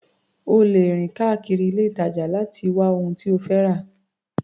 O lè rìn káàkiri ilé-ìtàjà láti wá ohun tí o fẹ́ rà.